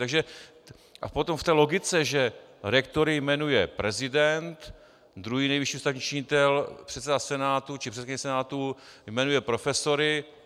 Takže - a potom v té logice, že rektory jmenuje prezident, druhý nejvyšší ústavní činitel, předseda Senátu či předsedkyně Senátu, jmenuje profesory.